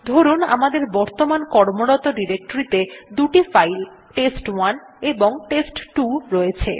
ধরুন আমাদের বর্তমান কর্মরত ডিরেক্টরীতে দুটো ফাইল টেস্ট1 এবং টেস্ট2 রয়েছে